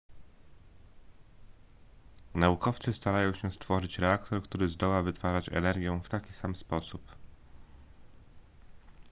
naukowcy starają się stworzyć reaktor który zdoła wytwarzać energię w taki sam sposób